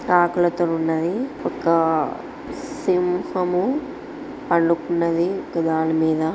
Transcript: ఆకలి తో నున్నది ఒక సిం--